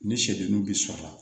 Ni sɛdennin bi sɔrɔ